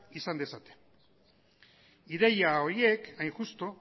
izan dezaten ideia horiek hain justu